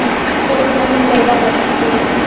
তোর কোনা জাগা পছন্দ